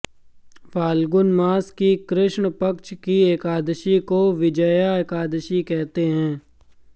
फाल्गुन मास की कृष्ण पक्ष की एकादशी को विजया एकादशी कहते हैं